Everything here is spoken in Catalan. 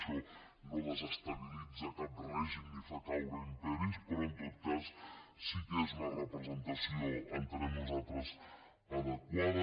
això no desestabilitza cap règim ni fa caure imperis però en tot cas sí que és una representació entenem nosaltres adequada